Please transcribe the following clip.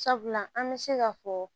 Sabula an bɛ se k'a fɔ